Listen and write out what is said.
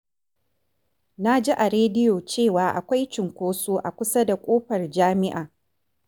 Na ji a rediyo cewa akwai cunkoso a kusa da ƙofar jami’a.